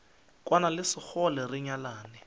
kwane le sekgole re nyalane